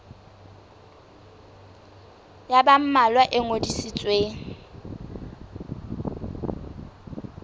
ya ba mmalwa e ngodisitsweng